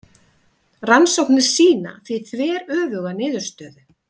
Rannsóknir sýna því þveröfuga niðurstöðu.